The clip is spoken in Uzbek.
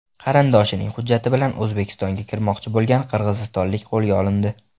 Qarindoshining hujjati bilan O‘zbekistonga kirmoqchi bo‘lgan qirg‘izistonlik qo‘lga olindi.